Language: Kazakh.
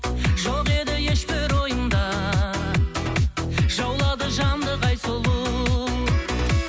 жоқ еді еш бір ойымда жаулады жанды қай сұлу